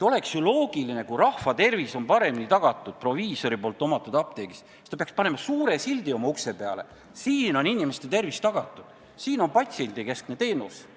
Oleks ju loogiline, et kui rahva tervis on paremini hoitud proviisori omatavas apteegis, siis paneks ta oma ukse peale suure sildi: "Siin on inimeste tervis hoitud, siin on patsiendikeskne teenus!